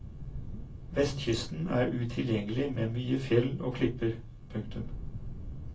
Vestkysten er utilgjengelig med mye fjell og klipper. punktum